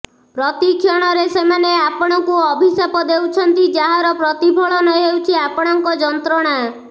ପ୍ରତି କ୍ଷଣରେ ସେମାନେ ଆପଣଙ୍କୁ ଅଭିଶାପ ଦେଉଛନ୍ତି ଯାହାର ପ୍ରତିଫଳନ ହେଉଛି ଆପଣଙ୍କ ଯନ୍ତ୍ରଣା